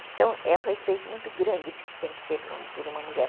Então, é um respeito muito grande que tem que ter por uma mulher.